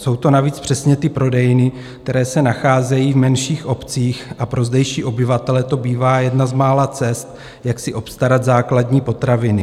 Jsou to navíc přesně ty prodejny, které se nacházejí v menších obcích, a pro zdejší obyvatele to bývá jedna z mála cest, jak si obstarat základní potraviny.